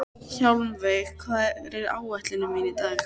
Hjálmveig, hvað er á áætluninni minni í dag?